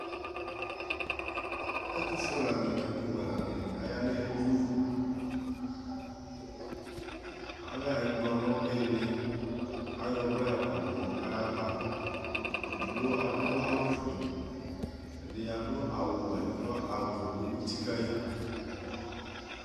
Ɛtufue lani nʋ ɛtuwʋɛ lani ayanʋ edini alɛ ɛkplɔ nʋ iili ayɔ ɔwlɛ yɔkɔdʋ nʋ yʋ ava edigbo adʋ awʋfue kʋ ɛdi adʋ awʋwɛ kʋ awʋfue dʋ uti kayi